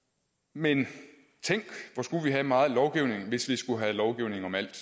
men tænk hvor skulle vi have meget lovgivning hvis vi skulle have lovgivning om alt